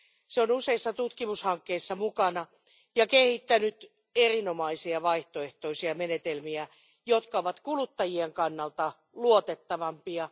Se on useissa tutkimushankkeissa mukana ja kehittänyt erinomaisia vaihtoehtoisia menetelmiä, jotka ovat kuluttajien kannalta luotettavampia.